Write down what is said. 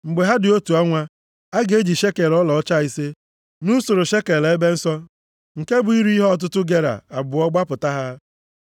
Mgbe ha dị otu ọnwa, a ga-eji shekel ọlaọcha ise, nʼusoro shekel ebe nsọ, nke bụ iri ihe ọtụtụ gera abụọ gbapụta ha.